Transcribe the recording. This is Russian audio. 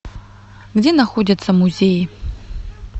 где находятся музеи